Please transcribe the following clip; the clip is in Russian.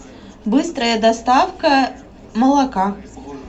быстрая доставка молока